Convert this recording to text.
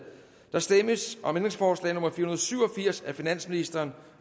der stemmes om ændringsforslag nummer fire hundrede og syv og firs af finansministeren